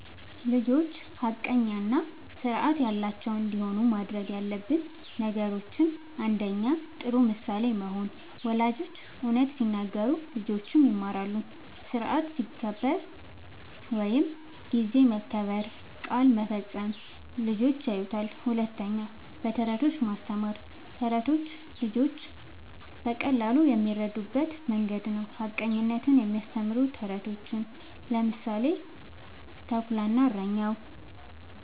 ልጆች ሐቀኛ እና ስርዓት ያላቸው እንዲሆኑ ማድረግ ያለብን ነገሮችን፦ ፩. ጥሩ ምሳሌ መሆን፦ ወላጆች እውነት ሲናገሩ ልጆችም ይማራሉ። ስርዓት ሲከበር (ጊዜ መከበር፣ ቃል መፈጸም) ልጆች ያዩታል። ፪. በተረቶች ማስተማር፦ ተረቶች ልጆች በቀላሉ የሚረዱበት መንገድ ነዉ። ሐቀኝነትን የሚያስተምሩ ተረቶችን (ምሳሌ፦ “ተኩላ እና እረኛው”)